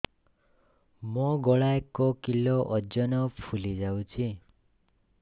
ମୋ ଗଳା ଏକ କିଲୋ ଓଜନ ଫୁଲି ଯାଉଛି